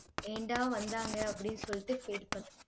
ஏன்டா வந்தாங்க? அப்படின்னு சொல்லிட்டு feel பண்ணுவே